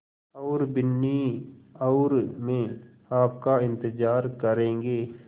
और बिन्नी और मैं आपका इन्तज़ार करेंगे